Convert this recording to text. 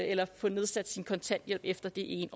eller få nedsat sin kontanthjælp efter det